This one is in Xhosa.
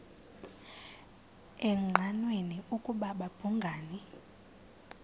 engqanweni ukuba babhungani